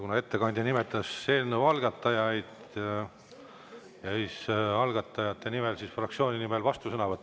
Kuna ettekandja nimetas eelnõu algatajaid, siis algatajate fraktsiooni nimel vastusõnavõtt.